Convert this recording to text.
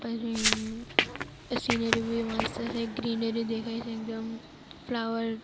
અરે સિનરી ભી મસ્ત છે ગ્રીનરી દેખાય છે એકદમ ફલાવર --